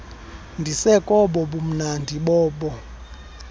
ndisekobo bumnandi bobo